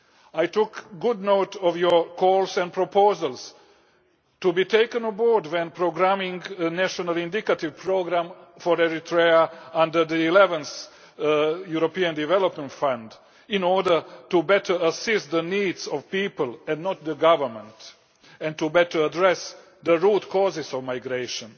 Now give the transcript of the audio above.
I took good note of your calls and proposals to be taken on board when programming the national indicative programme for Eritrea under the 11th European Development Fund in order to better assess the needs of the people and not the government, and to better address the root causes of migration.